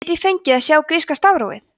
get ég fengið að sjá gríska stafrófið